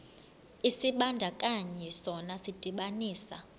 isibandakanyi sona sidibanisa